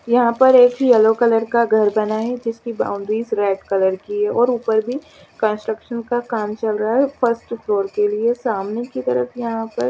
यहाँ पर एक येलो कलर का घर बना है जिसके बाउन्डरिस रेड कलर की है और ऊपर भी कंस्ट्रक्सन का काम चल रहा है फर्स्ट फ्लोर के लिए सामने की तरफ यहाँ पर --